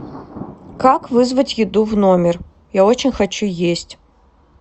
как вызвать еду в номер я очень хочу есть